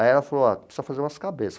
Aí ela falou, ó, precisa fazer umas cabeças.